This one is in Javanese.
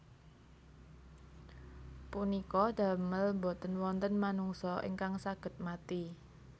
Punika damel boten wonten manungsa ingkang saged mati